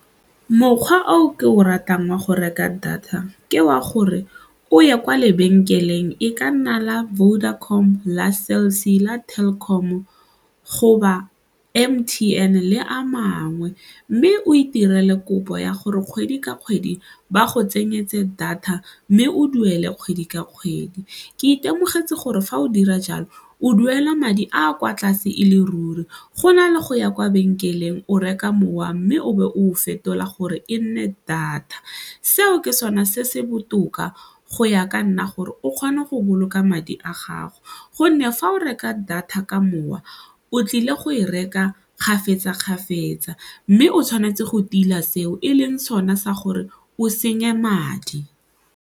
Mokgwa oo ke o ratang wa go reka data ke wa gore o ye kwa lebenkeleng e ka nna la Vodacom, la Cell C, la Telkom goba M_T_N le a mangwe mme o itirele kopo ya gore kgwedi ka kgwedi ba go tsenyetse data mme o duele kgwedi ka kgwedi. Ke itemogetse gore fa o dira jalo o duela madi a kwa tlase e le ruri gona le go ya kwa lebenkeleng o reka mowa mme o be o fetola gore e nne data. Seo ke sone se se botoka go ya ka nna gore o kgona go boloka madi a gago gonne fa o reka data ka mokgwa o tlile go e reka kgafetsa-kgafetsa mme o tshwanetse go tila seo e leng sone sa gore o senye madi.